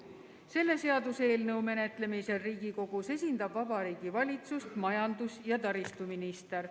Selle seaduseelnõu menetlemisel Riigikogus esindab Vabariigi Valitsust majandus- ja taristuminister.